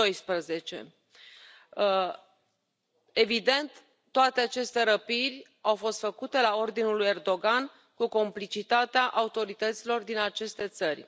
12. Evident, toate aceste răpirii au fost făcute la ordinul lui Erdogan, cu complicitatea autorităților din aceste țări.